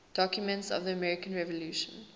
documents of the american revolution